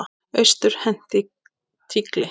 Austur henti tígli.